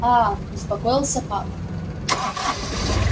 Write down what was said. а успокоился папа